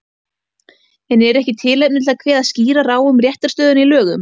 En er ekki tilefni til að kveða skýrar á um réttarstöðuna í lögum?